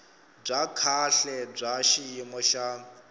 bya kahle bya xiyimo xa